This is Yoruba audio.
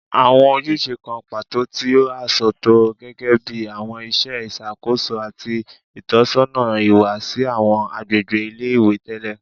Awọn ojuse kan pato ti a sọtọ gẹgẹbi awọn iṣẹ iṣakoso ati itọsọna iwa si awọn agbegbe ile-iwe tẹlẹ